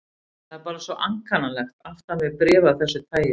Það er bara svo ankannalegt aftan við bréf af þessu tagi.